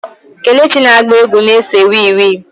Kelechi na-agba egwu na-ese wii wii.